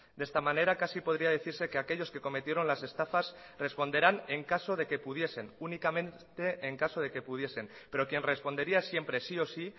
de esta manera casi podría decirse que aquellos que cometieron las estafas responderán en caso de que pudiesen únicamente en caso de que pudiesen pero quien respondería siempre sí o sí